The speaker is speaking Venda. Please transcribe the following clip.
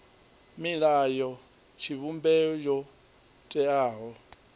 milayo ya tshivhumbeo yo teaho